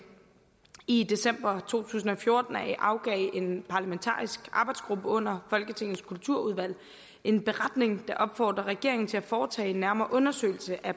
i december to tusind og fjorten afgav en parlamentarisk arbejdsgruppe under folketingets kulturudvalg en beretning der opfordrede regeringen til at foretage en nærmere undersøgelse af